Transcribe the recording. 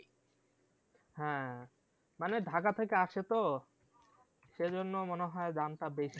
হ্যাঁ মানে ঢাকা থেকে আসে তো সে জন্য মনে হয় দামটা বেশি